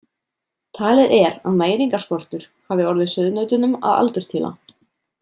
Talið er að næringarskortur hafi orðið sauðnautunum að aldurtila.